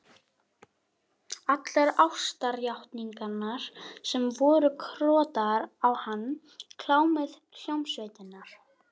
Allar ástarjátningarnar sem voru krotaðar á hann, klámið, hljómsveitirnar.